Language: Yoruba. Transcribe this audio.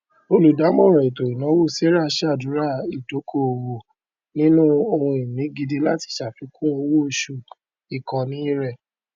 olùdàmọràn ètò ìnáwó sarah ṣàdúrà ìdókòowó nínú ohunìní gidi láti ṣàfikún owóoṣù ìkóni rẹ